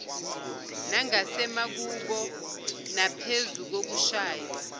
nangasemakubo naphezu kokushaywa